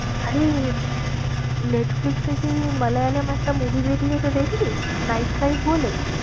আরে নেটফ্লিক্সে সেই মালয়ালম একটা movie বেরিয়েছে দেখলি? night drive বলে।